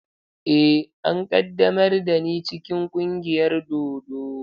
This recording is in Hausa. Eh, an ƙaddamar da ni cikin ƙungiyar dodo.